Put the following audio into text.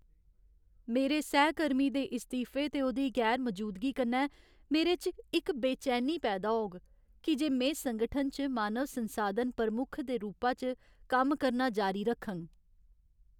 मेरे सैहकर्मी दे इस्तीफे ते ओह्दी गैर मजूदगी कन्नै मेरे च इक बेचैनी पैदा होग की जे में संगठन च मानव संसाधन प्रमुख दे रूपा च कम्म करना जारी रखङ।